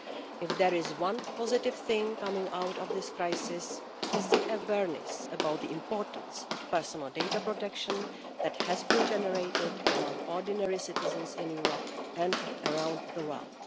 If there is one positive thing coming out of this crisis, it is the awareness about the importance of personal data protection that has been generated among ordinary citizens in Europe and around the world.